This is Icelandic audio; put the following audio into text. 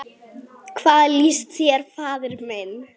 Hvað líst þér, faðir minn?